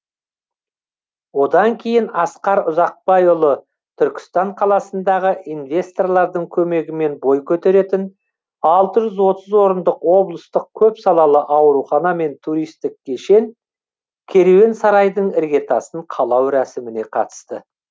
одан кейін асқар ұзақбайұлы түркістан қаласында инвесторлардың көмегімен бой көтеретін алты жүз отыз орындық облыстық көпсалалы аурухана мен туристік кешен керуен сарайдың іргетасын қалау рәсіміне қатысты